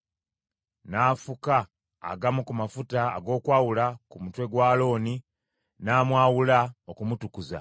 N’afuka agamu ku mafuta ag’okwawula ku mutwe gwa Alooni, n’amwawula, okumutukuza.